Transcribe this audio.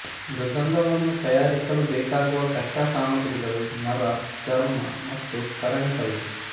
ಮೃದಂಗವನ್ನು ತಯಾರಿಸಲು ಬೇಕಾಗುವ ಕಚ್ಚಾ ಸಾಮಗ್ರಿಗಳು ಮರ ಚರ್ಮ ಮತ್ತು ಕರಣೆ ಕಲ್ಲು